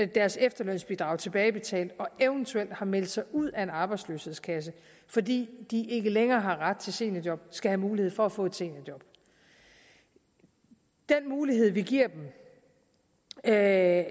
deres efterlønsbidrag tilbagebetalt og eventuelt har meldt sig ud af en arbejdsløshedskasse fordi de ikke længere har ret til seniorjob skal have mulighed for at få et seniorjob den mulighed vi giver dem er at